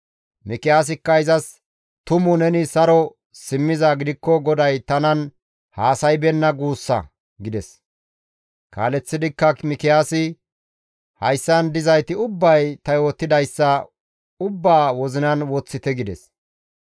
Mikiyaasikka izas, «Tumu neni saro simmizaa gidikko GODAY tanan haasaybeenna guussa!» gides; kaaleththidikka Mikiyaasi, «Hayssan dizayti ubbay ta yootidayssa ubbaa wozinan woththite» gides.